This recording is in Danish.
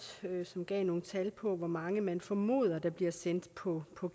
som gav nogle tal på hvor mange man formoder der bliver sendt på på